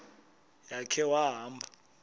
ya khe wahamba